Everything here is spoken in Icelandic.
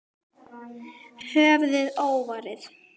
Höfuðið óvarið.